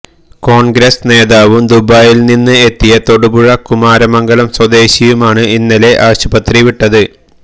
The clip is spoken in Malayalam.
കോണ്ഗ്രസ് നേതാവും ദുബായിൽ നിന്ന് എത്തിയ തൊടുപുഴ കുമാരമംഗലം സ്വദേശിയുമാണ് ഇന്നലെ ആശുപത്രി വിട്ടത്